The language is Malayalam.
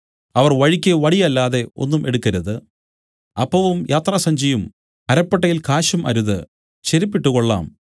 അവർ വഴിക്ക് വടി അല്ലാതെ ഒന്നും എടുക്കരുത് അപ്പവും യാത്രാസഞ്ചിയും അരപ്പട്ടയിൽ കാശും അരുത് ചെരിപ്പു ഇട്ടുകൊള്ളാം